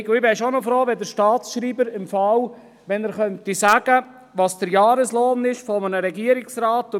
Ich wäre doch froh, wenn der Staatsschreiber sagen könnte, welches der Jahreslohn eines Regierungsrats ist.